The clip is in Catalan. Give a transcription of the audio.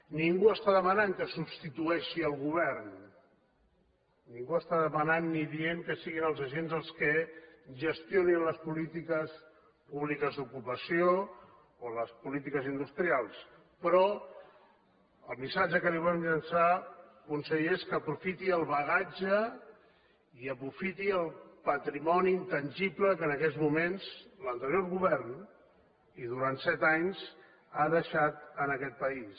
ningú està demanant que substitueixi el govern ningú està demanant ni dient que siguin els agents els que gestionin les polítiques públiques d’ocupació o les polítiques industrials però el missatge que li volem llançar conseller és que aprofiti el bagatge i aprofiti el patrimoni intangible que en aquests moments l’anterior govern i durant set anys ha deixat en aquest país